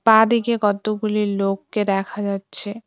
বাঁদিকে কতগুলি লোককে দেখা যাচ্ছে।